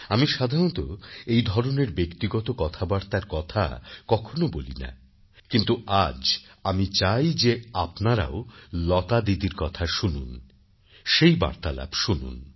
আমি সাধারণতঃ এই ধরনের ব্যক্তিগত কথাবার্তার কথা কখনও বলি না কিন্তু আজ আমি চাই যে আপনারাও লতাদিদির কথা শুনুন সেই বার্তালাপ শুনুন